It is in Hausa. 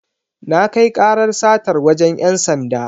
Na kai karar satar wajen ‘yan sanda.